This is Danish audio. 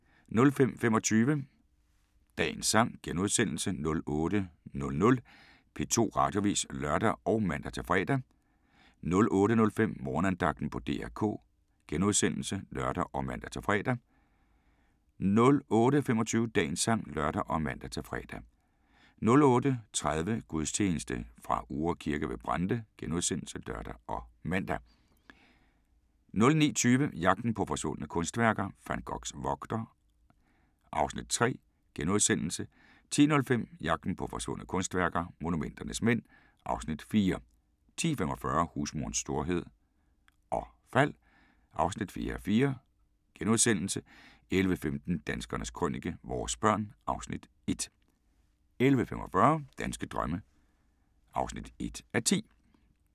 05:25: Dagens Sang * 08:00: P2 Radioavis *(lør og man-fre) 08:05: Morgenandagten på DR K *(lør og man-fre) 08:25: Dagens sang (lør og man-fre) 08:30: Gudstjeneste fra Uhre Kirke ved Brande *(lør og man) 09:20: Jagten på forsvundne kunstværker - Van Goghs vogter (Afs. 3)* 10:05: Jagten på forsvundne kunstværker – Monumenternes mænd (Afs. 4) 10:45: Husmorens storhed og fald (4:4)* 11:15: Danskernes Krønike - vores børn (Afs. 1) 11:45: Danske drømme (1:10)